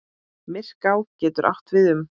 Myrká getur átt við um